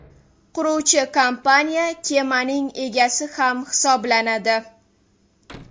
Quruvchi kompaniya kemaning egasi ham hisoblanadi.